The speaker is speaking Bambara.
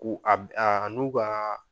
U a be , a n'u ka